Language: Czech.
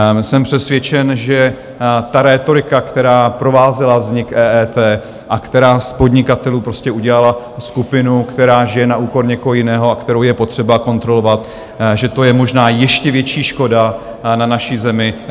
Jsem přesvědčen, že ta rétorika, která provázela vznik EET a která z podnikatelů prostě udělala skupinu, která žije na úkor někoho jiného a kterou je potřeba kontrolovat, že to je možná ještě větší škoda na naší zemi...